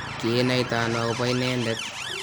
kiinaitano akobo inendet?